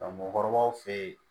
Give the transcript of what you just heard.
Mɔgɔkɔrɔbaw fe ye